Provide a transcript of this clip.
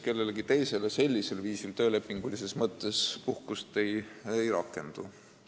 Kellegi teise suhtes töölepingulises mõttes puhkus ei rakendu.